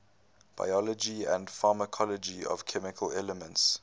biology and pharmacology of chemical elements